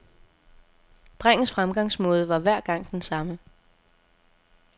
Drengens fremgangsmåde var hver gang den samme.